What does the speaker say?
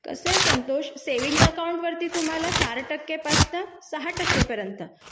कसे Santosh saving account वरती तुम्हाला चार टक्के पासून ते सहा टक्क्यापर्यंत